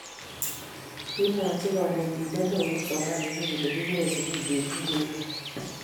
Kimwochi konetinte nao kipsomaninik kole kikere sukul betut ne rupei.